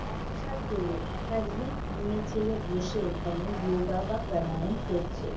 একসাথে একাধিক মেয়ে-ছেলে বসে এখানে ইয়োগা বা প্রণায়াম করছে।